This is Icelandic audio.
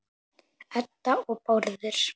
Edda og Bárður.